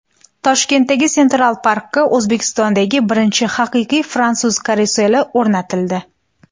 Toshkentdagi Central Park’ga O‘zbekistondagi birinchi haqiqiy fransuz karuseli o‘rnatildi.